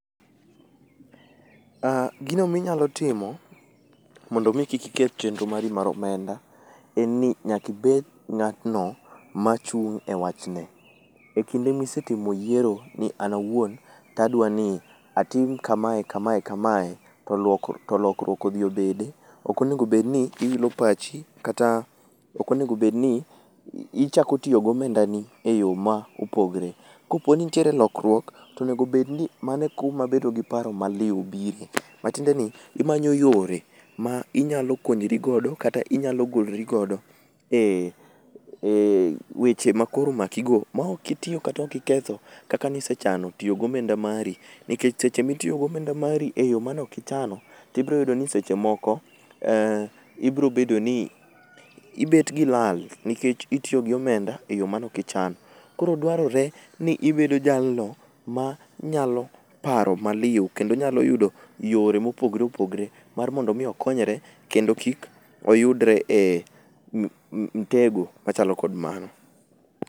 Ah, gino minyalo timo mondo mi kik iketh chenro mari mar omenda. En ni nyakibed ng'atno machung' e wachne. E kinde misetimo yiero ni an awuon, tadwani atim kamae, kamae, kamae, to lokruok odhi obede, okonegobedni iwilo pachi kata okonego bedni ichako tiyo gomendani e yo ma opogre. Koponi nitiere lokruok, tonegobedni mano e kuma bedo gi paro maliw bire. Matiende ni, imanyo yore ma inyalo konyori godo kata inyalo golori godo e weche ma koro omakigo maok itiyo kata okiketho kaka nisechano tiyo gomenda mari. Nikech seche mitiyo gomenda mari eyo manokichano, tibroyudo ni seche moko ibrobedo ni ibet gi lal nikech itiyo gi omenda e yo manokichano. Koro dwarore ni ibedo jalno ma nyalo paro maliw kendo nyalo yudo yore mopogre opogre mar mondo mi okonyre kendo kik oyudre e mtego machalo kod mano.